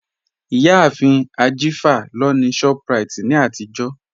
Iyàáfin Ajífà lọ ni Shoprite ni àtijọ̀